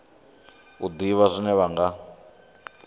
u ḓivha zwine vha nga